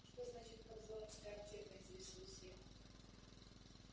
что значит кобзоновская аптека интересуюсь я